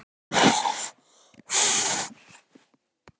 Ingveldur Geirsdóttir: Er þetta einhver ádeila á samfélagið í dag?